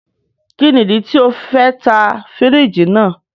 Kini idi ti o fẹ ta firiji naa?